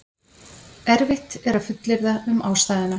Erfitt er að fullyrða um ástæðuna.